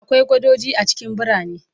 Akwai gadoji a cikin birane